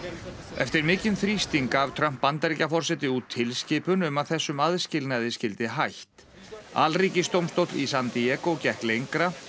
eftir mikinn þrýsting gaf Trump Bandaríkjaforseti út tilskipun um að þessum aðskilnaði skyldi hætt í San Diego gekk lengra